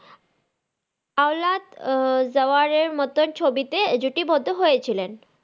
আল্লহাদ জাওারের মতো ছবিতে জুটি বদ্ধ হয়েছিলেন।